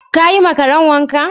Ka yi ma Karen wanka?